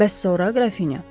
Bəs sonra Qrafinya?